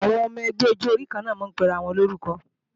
Àwọn ọmọ ẹgbẹ́ ọjọ orí kanna máa ń pe ara wọn ní orúkọ